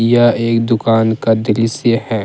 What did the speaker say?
यह एक दुकान का दृश्य है।